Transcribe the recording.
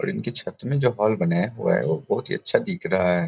और इनके छत में जो हॉल बनाया हुआ है वो बहोत ही अच्छा दिख रहा है ।